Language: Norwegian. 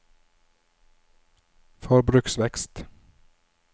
forbruksvekst